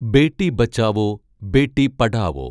Beti Bachao Beti Padhao